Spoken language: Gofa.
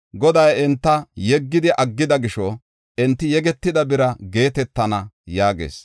Goday enta yeggidi aggida gisho, enti yegetida bira geetetana” yaagees.